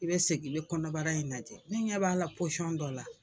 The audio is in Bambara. I bɛ segin i bɛ kɔnɔbara in lajɛ ne ɲɛ b'a la posɔn dɔ la.